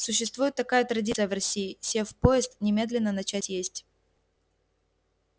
существует такая традиция в россии сев в поезд немедленно начать есть